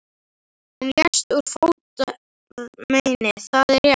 Hann lést úr fótarmeini, það er rétt.